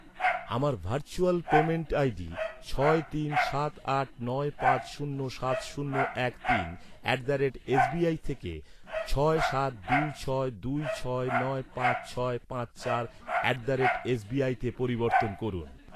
আমার virtual payment ID ছয় তিন সাত আট নয় পাঁচ শূন্য সাত শূন্য এক তিন at the rate S B I থেকে ছয় সাত দুই ছয় দুই ছয় নয় পাঁচ ছয় পাঁচ চার at the rate S B আইতে পরিবর্তন করুন।